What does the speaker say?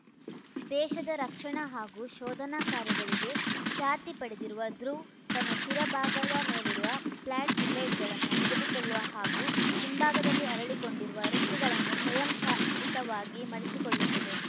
ದೇಶದ ರಕ್ಷಣಾ ಹಾಗೂ ಶೋಧನಾ ಕಾರ್ಯಗಳಿಗೆ ಖ್ಯಾತಿ ಪಡೆದಿರುವ ಧ್ರುವ್‌ತನ್ನ ಶಿರ ಭಾಗದ ಮೇಲಿರುವ ಪ್ಲ್ಯಾಟ್ ಬ್ಲೇಡ್‌ಗಳನ್ನು ಮುದುಡಿಕೊಳ್ಳುವ ಹಾಗೂ ಹಿಂಭಾಗದಲ್ಲಿ ಅರಳಿಕೊಂಡಿರುವ ರೆಕ್ಕೆಗಳನ್ನು ಸ್ವಯಂ ಚಾಲಿತವಾಗಿ ಮಡಚಿಕೊಳ್ಳುತ್ತದೆ